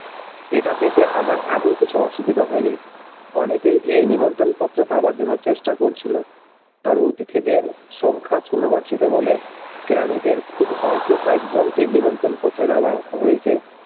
এটা পেতে আমার এমন কিছু অসুবিধা হইনি অনেকেই এই নিমন্ত্রন পত্র পাওয়ার জন্য চেষ্টা করছিল তবে অতিথিদের সংখ্যা বলে কেরানিদের খুব অল্প কয়েকজনকে নিমন্ত্রন পত্র দেওয়া হয়েছে।